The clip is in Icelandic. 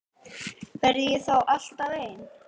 Verð ég þá alltaf ein?